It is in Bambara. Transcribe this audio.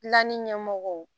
Lani ɲɛmɔgɔw